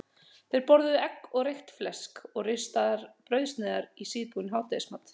Þeir borðuðu egg og reykt flesk og ristaðar brauðsneiðar í síðbúinn hádegismat.